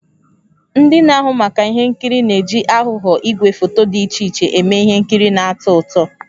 Ndị na-ahụ maka ihe nkiri na-eji aghụghọ igwefoto dị iche iche eme ihe nkiri na-atọ ụtọ.